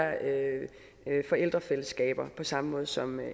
forældrefællesskaber på samme måde som